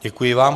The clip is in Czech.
Děkuji vám.